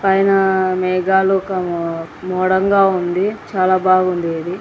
పైన మేఘాలు ముదంగా ఉంది చాలా బాగుంది.